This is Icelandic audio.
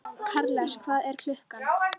Karles, hvað er klukkan?